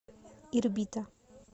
ирбита